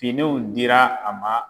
Finiw dira a ma